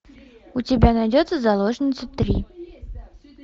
у тебя найдется заложница три